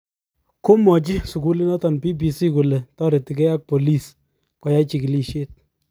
Komwachi sukulinoto BBC kole taretigei ak bolis koyai chigilisyet